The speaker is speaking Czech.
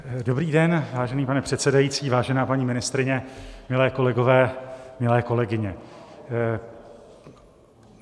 Dobrý den, vážený pane předsedající, vážená paní ministryně, milé kolegyně, milí kolegové.